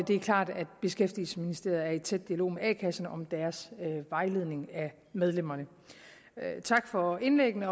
det er klart at beskæftigelsesministeriet er i tæt dialog med a kasserne om deres vejledning af medlemmerne tak for indlæggene